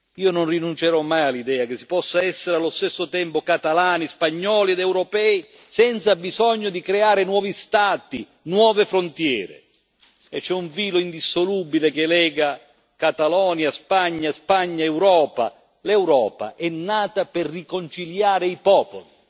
Io non rinuncerò mai all'idea che si possa essere allo stesso tempo catalani, spagnoli ed europei, senza bisogno di creare nuovi Stati, nuove frontiere e c'è un filo indissolubile che lega Catalogna, Spagna, Spagna, Europa l'Europa è nata per riconciliare i popoli.